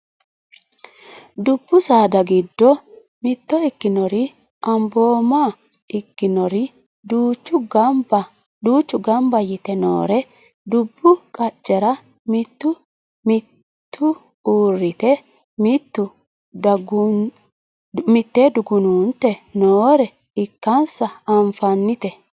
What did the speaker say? dubbu saada giddo mitto ikkinori anbooma ikkinori duuchu ganba yite noore dubbu qaccera mitu uurrite mitu dugunuunte noore ikkansa anfannite